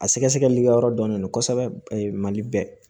A sɛgɛsɛgɛli ka yɔrɔ dɔnnen don kosɛbɛ mali bɛɛ